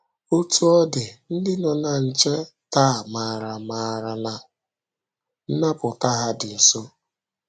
Otú ọ dị, ndị nọ na nche taa maara maara na nnapụta ha dị nso.